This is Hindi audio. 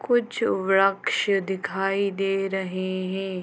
कुछ व्रक्ष दिखाई दे रहे हें।